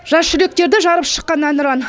жас жүректерді жарып шыққан әнұран